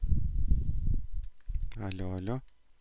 алло алло